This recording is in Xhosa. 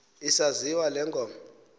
isaziwa le ngoma